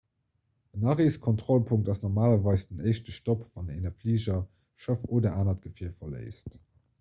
en areeskontrollpunkt ass normalerweis den éischte stopp wann een e fliger schëff oder anert gefier verléisst